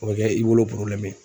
O bɛ kɛ i bolo ye.